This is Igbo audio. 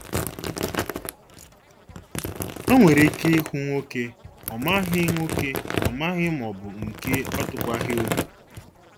O nwere ike ịhụ nwoke ọ maghị nwoke ọ maghị maọbụ nke ọ tụkwaghị obi